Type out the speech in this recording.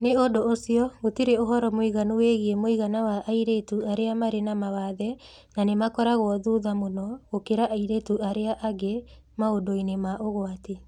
Nĩ ũndũ ũcio, gũtirĩ ũhoro mũiganu wĩgiĩ mũigana wa airĩtu arĩa marĩ na mawathe, na nĩ makoragwo thutha mũno gũkĩra airĩtu arĩa angĩ maũndũ-inĩ ma ũgwati.